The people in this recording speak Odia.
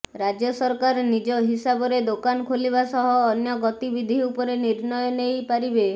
ରାଜ୍ୟ ସରକାର ନିଜ ହିସାବରେ ଦୋକାନ ଖୋଲିବା ସହ ଅନ୍ୟ ଗତିବିଧି ଉପରେ ନିର୍ଣ୍ଣୟ ନେଇ ପାରିବେ